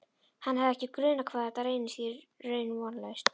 Hann hafði ekki grunað hvað þetta reynist í raun vonlaust.